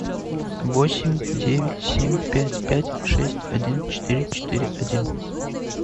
восемь девять семь пять пять шесть один четыре четыре один